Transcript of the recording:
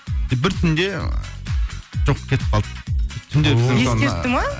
бір түнде жоқ кетіп қалды